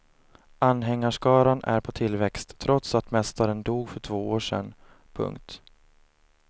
Anhängarskaran är på tillväxt trots att mästaren dog för två år sen. punkt